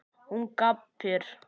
Hún gapir.